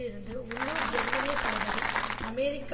இருந்த உள்ளூர் ஜெர்மனிய தளபதி அமெரிக்க